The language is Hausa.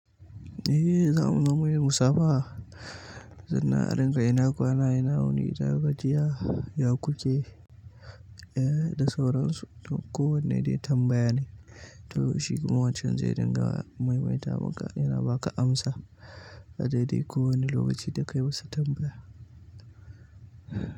Eh yanzu amma munyi musaba. Zina rinƙai na kwana, yana wuni, ta gajiya, yakuke eh da sauran su. Ko wanne dai tambaya ne. To shi kuma wan can zai dinga maimaita maka yana baka amsa a daidai kowane lokaci da ka yi masa tambaya.